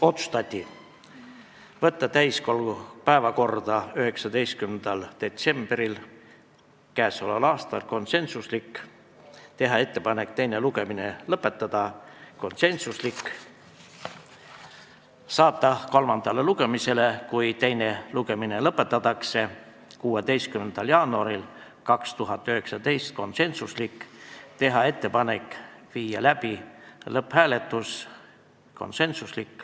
Otsustati saata eelnõu täiskogu päevakorda 19. detsembriks k.a , teha ettepanek teine lugemine lõpetada , saata eelnõu kolmandale lugemisele, kui teine lugemine lõpetatakse, 16. jaanuariks 2019 ja teha ettepanek viia läbi lõpphääletus .